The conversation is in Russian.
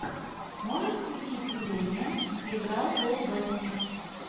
можешь включить явление где играл пол беттани